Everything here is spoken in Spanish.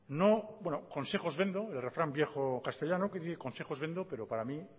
bueno el refrán viejo castellano que dice consejos vendo pero para mí